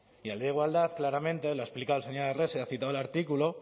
y la ley de igualdad claramente la ha explicado el señor arrese ha citado el artículo